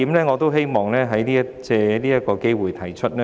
我希望藉此機會提出一點。